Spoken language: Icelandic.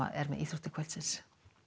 er með íþróttir kvöldsins